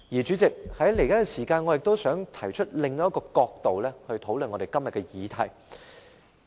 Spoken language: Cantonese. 主席，我想在餘下的時間提出以另一角度討論今天的議題。